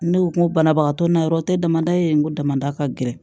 Ne ko ko banabagatɔ na yɔrɔ tɛ damadɔ ye n ko damada ka gɛlɛn